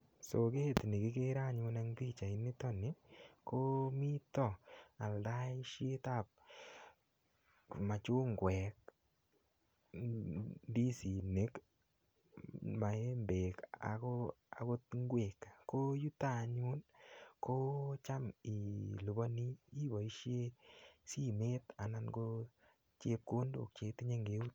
So kit nekikeren anyun en pichaini nitok nii koo mitok aldaishetab machungwek, ndisinik, maembek akot ngwek koo yuto anyun kocham iliponi iboishen simet anan ko chepkondok cheitinye ngeut.